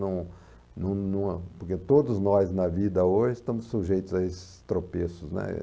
no no numa... Porque todos nós na vida hoje estamos sujeitos a esses tropeços, né?